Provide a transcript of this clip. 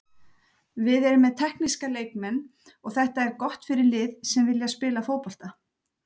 Við erum með tekníska leikmenn og þetta er gott fyrir lið sem vilja spila fótbolta.